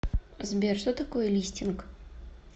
сбер что такое листинг